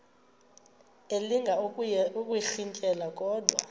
elinga ukuyirintyela kodwa